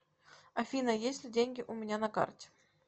афина есть ли деньги у меня на карте